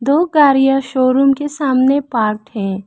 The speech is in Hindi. दो गाड़ियां शोरूम के सामने पार्क है।